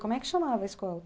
Como é que chamava a escola?